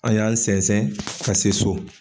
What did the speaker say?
An' y'an sɛnsɛn ka se so.